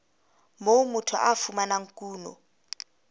moo motho a fumanang kuno